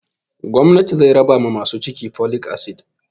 Gwamnatin zai raba ma masu ciki folic acid